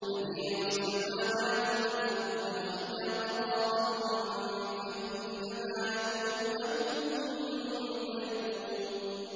بَدِيعُ السَّمَاوَاتِ وَالْأَرْضِ ۖ وَإِذَا قَضَىٰ أَمْرًا فَإِنَّمَا يَقُولُ لَهُ كُن فَيَكُونُ